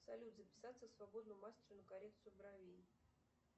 салют записаться к свободному мастеру на коррекцию бровей